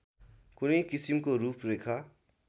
कुनै किसिमको रूपरेखा